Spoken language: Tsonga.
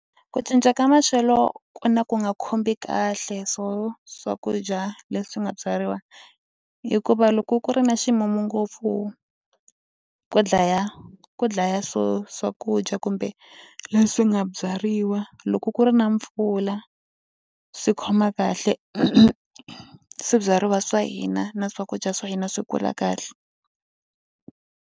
Ku cinca ka maxelo ku na ku nga khumbi kahle swo swakudya leswi nga byariwa hikuva loko ku ri na ximumu ngopfu ku dlaya ku dlaya swo swakudya kumbe leswi nga byariwa loko ku ri na mpfula swi khoma kahle swibyariwa swa hina na swakudya swa hina swi kula kahle.